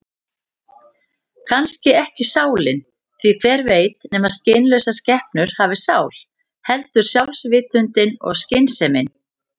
Kannski ekki sálin, því hver veit nema skynlausar skepnur hafi sál, heldur sjálfsvitundin og skynsemin.